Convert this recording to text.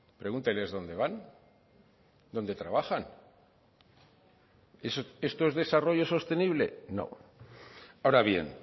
pregúnteles dónde van dónde trabajan esto es desarrollo sostenible no ahora bien